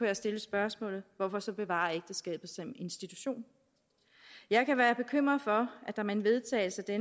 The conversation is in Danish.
jeg stille spørgsmålet hvorfor så bevare ægteskabet som institution jeg kan være bekymret for at der med en vedtagelse af